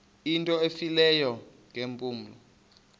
into efileyo ngeempumlo